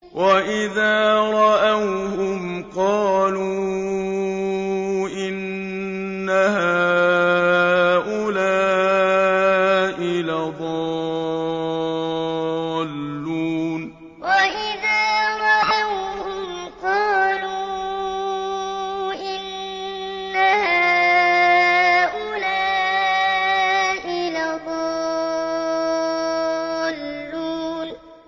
وَإِذَا رَأَوْهُمْ قَالُوا إِنَّ هَٰؤُلَاءِ لَضَالُّونَ وَإِذَا رَأَوْهُمْ قَالُوا إِنَّ هَٰؤُلَاءِ لَضَالُّونَ